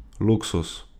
Luksuz.